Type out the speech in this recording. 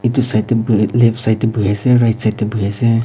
Etu side dae buhe left side dae buhi ase right side dae buhi ase.